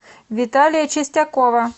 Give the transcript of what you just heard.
виталия чистякова